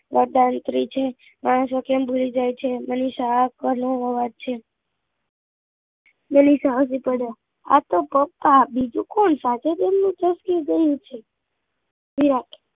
વરદાન નીકળી છે ખબર નહીં માણસો કેમ ભૂલી જાય છે એ મનીષા નો અવાજ છે બોલીશ હસી પડ્યો આતો પપ્પા બીજું કોણ સાથે દેવ ની દ્રષ્ટિ એ ગયું છે વિરાટ